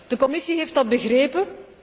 De Commissie heeft dat begrepen.